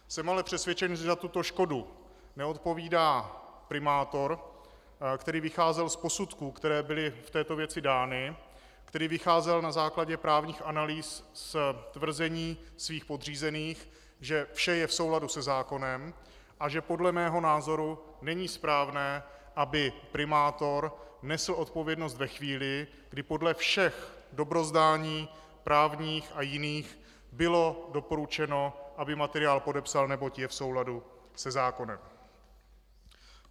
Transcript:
Jsem ale přesvědčen, že za tuto škodu neodpovídá primátor, který vycházel z posudků, které byly v této věci dány, který vycházel na základě právních analýz z tvrzení svých podřízených, že vše je v souladu se zákonem, a že podle mého názoru není správné, aby primátor nesl odpovědnost ve chvíli, kdy podle všech dobrozdání právních a jiných bylo doporučeno, aby materiál podepsal, neboť je v souladu se zákonem.